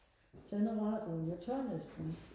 tænder radioen jeg tør næsten ikke